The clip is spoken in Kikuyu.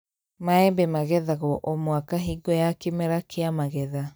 Maembe magethagwo o mũaka hingo ya kĩmera kĩa magetha